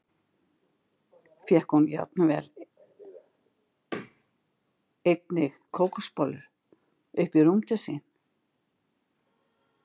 Fékk hún jafnvel einnig kókosbollur upp í rúm til sín.